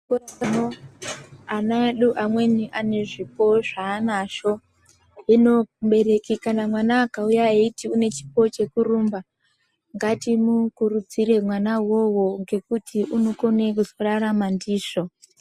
Ana edu amweni ane zvipo zvaanazvo. Hino mubereki kana mwana akauya eyiti une chipo chekurumba, ngatimukurudzire mwana iwowo ngekuti unokone kuzorarama ndizvo.